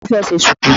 Ta ni ó fẹ́ ṣe ṣùkú?